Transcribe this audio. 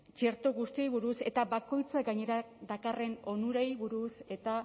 txerto guztiei buruz eta bakoitza gainera dakarren onurei buruz eta